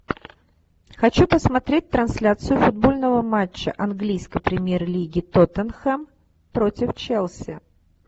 хочу посмотреть трансляцию футбольного матча английской премьер лиги тоттенхэм против челси